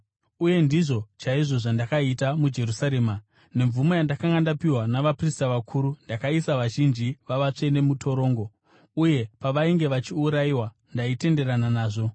Uye ndizvo chaizvo zvandakaita muJerusarema. Nemvumo yandakanga ndapiwa navaprista vakuru, ndakaisa vazhinji vavatsvene mutorongo, uye pavainge vachiurayiwa, ndaitenderana nazvo.